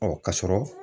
Ɔ ka sɔrɔ